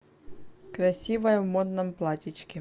красивая в модном платьечке